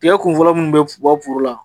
Tigɛ kun fɔlɔ munnu be bɔ foro la